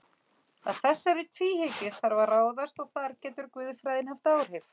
Að þessari tvíhyggju þarf að ráðast og þar getur guðfræðin haft áhrif.